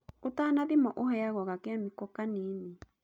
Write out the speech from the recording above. Ũtanathimwo ũheagwo gakemiko kanini.